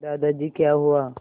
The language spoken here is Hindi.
दादाजी क्या हुआ